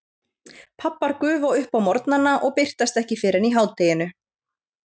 Pabbar gufa upp á morgnana og birtast ekki fyrr en í hádeginu.